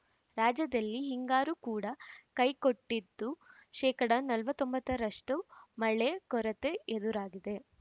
ರಾಜ್ಯದಲ್ಲಿ ಹಿಂಗಾರು ಕೂಡ ಕೈಕೊಟ್ಟಿದ್ದು ಶೇಕಡ ನಲವತ್ತ್ ಒಂಬತ್ತರಷ್ಟುಮಳೆ ಕೊರತೆ ಎದುರಾಗಿದೆ